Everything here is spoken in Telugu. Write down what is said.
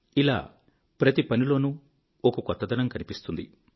ఇలా ప్రతి పనిలోనూ ఒక కొత్తదనం కనిపిస్తుంది